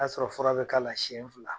A sɔrɔ fura be k'a la siyɛn fila.